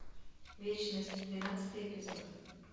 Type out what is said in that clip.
вечность двенадцатый эпизод